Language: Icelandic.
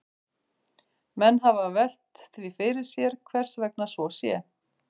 Menn hafa velt því fyrir sér hvers vegna svo sé.